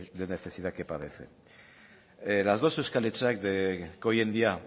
de necesidad que padecen las dos euskal etxeak que hoy en día